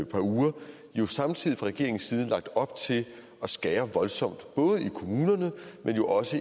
par uger jo samtidig fra regeringens side lagt op til at skære voldsomt både i kommunerne men jo også